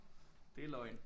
Det er løgn